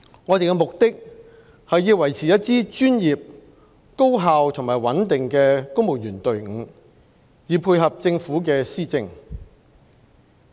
我們的目的是要維持一支專業、高效和穩定的公務員隊伍，以配合政府的施政。